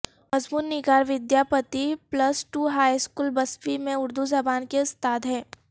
مضمون نگار Vidyapati plus two high school Bisfi میں اردو زبان کے استاد ہیں